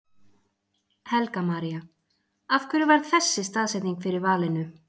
Helga María: Af hverju varð þessi staðsetning fyrir valinu?